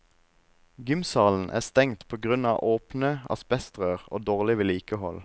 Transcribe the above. Gymsalen er stengt på grunn av åpne asbestrør og dårlig vedlikehold.